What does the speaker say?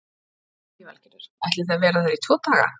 Lillý Valgerður: Ætlið þið að vera þar í tvo daga?